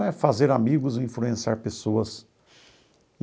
é fazer amigos, influenciar pessoas.